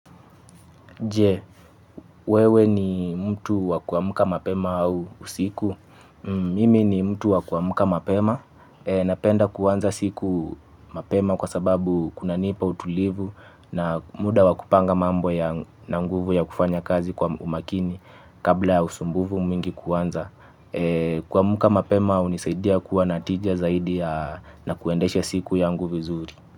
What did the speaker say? Jee, wewe ni mtu wakuwamuka mapema au usiku. Mimi ni mtu wakuwamuka mapema. Napenda kuanza siku mapema kwa sababu kunanipa utulivu na muda wa kupanga mambo yangu na nguvu ya kufanya kazi kwa umakini kabla ya usumbufu mwingi kuanza. Kwa muka mapema au nisaidia kuwa natijia zaidi na kuendeshe siku yangu vizuri.